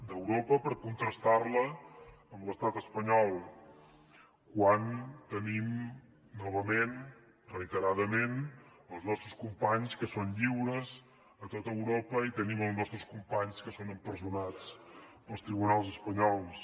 d’europa per contrastar la amb l’estat espanyol quan tenim novament reiteradament els nostres companys que són lliures a tot europa i tenim els nostres companys que són empresonats pels tribunals espanyols